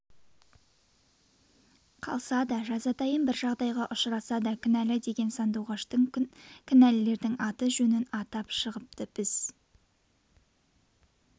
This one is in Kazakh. қалса да жазатайым бір жағдайға ұшыраса да кінәлі деген сандуғаш кінәлілердің аты-жөнін атап шығыпты біз